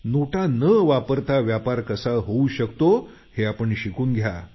नोटा न वापरता व्यापार कसा होऊ शकतो हे आपण शिकून घ्या